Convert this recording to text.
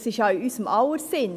Dies ist in unser aller Sinn.